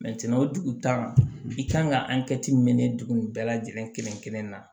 o dugutaga i kan ka dugu nin bɛɛ lajɛlen kelen kelenna